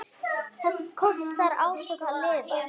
Það kostar átök að lifa.